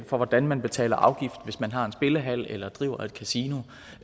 for hvordan man betaler afgift hvis man har en spillehal eller driver et kasino